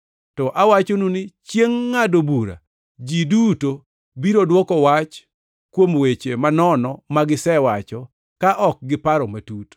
To awachonu ni chiengʼ ngʼado bura ji duto biro dwoko wach kuom weche manono ma gisewacho ka ok giparo matut.